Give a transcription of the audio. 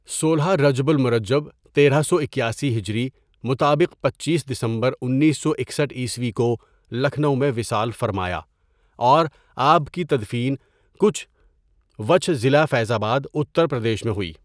سولہ رجب المرجب تیرہ سو اکیاسی ہجری مطابق پنچیس دسمبر انیس سو اکسٹھ عیسوی کو لکھنؤ میں وصال فرمایا اور آپ کی تدفین کچھ وچھہ، ضلع فیض آباد اتر پردیش میں ہوئی.